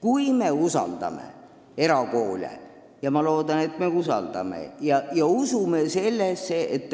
Kui me usaldame erakoole – ma loodan, et me usaldame – ja usume sellesse, et